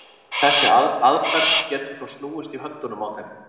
Þessi aðferð getur þó snúist í höndunum á þeim.